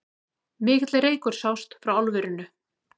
Mikill reykur sást frá álverinu